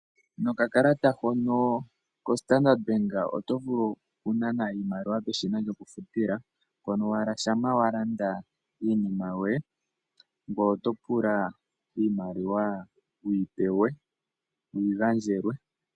Nokakalata hono koStandard bank otovulu okunana iimaliwa peshina lyokufutila, mpono owala shampa walanda iinima yoye ngoye otopula iimaliwa wuyi pewe/ wuyi gandjelwe.